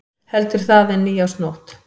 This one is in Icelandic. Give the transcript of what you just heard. Heldur það en nýársnótt.